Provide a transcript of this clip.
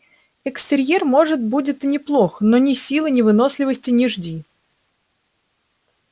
экстерьер может будет и неплох но ни силы ни выносливости не жди